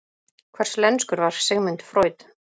Hverslenskur var Sigmund Freud?